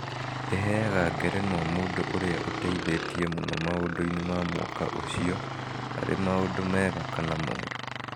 ĩheaga ngerenũa mũndũ ũrĩa "ũteithĩtie mũno maũndũ-inĩ ma mwaka ũcio, arĩ maũndũ mega kana moru